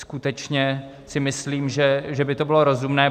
Skutečně si myslím, že by to bylo rozumné.